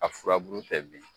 A furabulu tɛ bin.